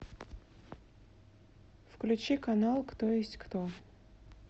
включи канал кто есть кто